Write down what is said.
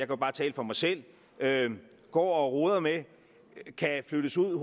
jo bare tale for mig selv går og roder med kan flyttes ud